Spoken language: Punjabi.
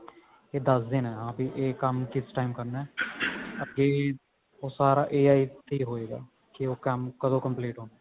ਇਹ ਦੱਸ ਦੇਣਾ ਆਪ ਹੀ ਇਹ ਕੰਮ ਕਿਸ time ਕਰਨਾ ਅੱਗੇ ਉਹ ਸਾਰਾ AIA ਤੇ ਹੋ ਹੋਇਗਾ ਕੀ ਉਹ ਕੰਮ ਕਦੋਂ complete ਕਰਨਾ